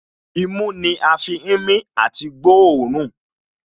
Imú ni a fi ń mí àti gbóòórùn